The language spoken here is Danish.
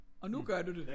Og nu gør du det